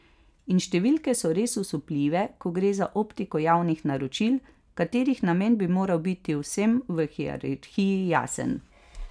In številke so res osupljive, ko gre za optiko javnih naročil, katerih namen bi moral biti vsem v hierarhiji jasen.